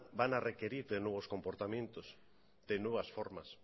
van a requerir de nuevos comportamientos de nuevas formas